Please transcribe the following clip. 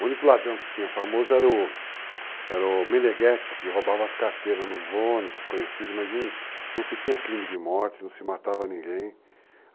O único ladrão que tinha famoso era o Meleguete, que roubava as carteiras nos ônibus, conhecido, mas não se tinha crime de morte, não se matava ninguém.